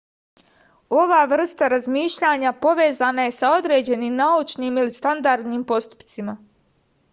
ova vrsta razmišljanja povezana je sa određenim naučnim ili standardnim postupcima